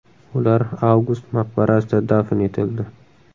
Ular Avgust maqbarasida dafn etildi.